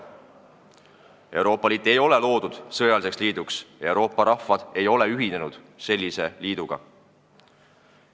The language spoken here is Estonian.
Euroopa Liit ei ole loodud sõjaliseks liiduks, Euroopa rahvad ei ole ühinenud sellise liiduga.